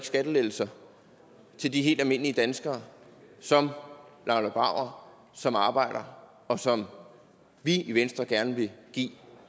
skattelettelser til de helt almindelige danskere som laila brauer som arbejder og som vi i venstre gerne vil give